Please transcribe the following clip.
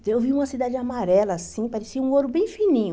Então, eu vi uma cidade amarela assim, parecia um ouro bem fininho.